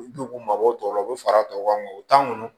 U k'u mabɔ o tɔ la u bɛ fara tɔw kan o t'an kɔnɔ